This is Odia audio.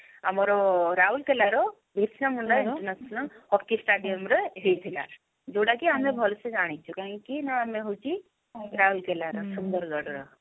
ଆମର ରାଉରକେଲା ର Birsa Munda international hockey stadium ରେ ହେଇଥିଲା ଯଉଟା କି ଆମେ ଭଲ ସେ ଜାଣିଛୁ କାହିଁକି ନା ଆମେ ହଉଛି ରାଉରକେଲା ର ସୁନ୍ଦରଗଡ ର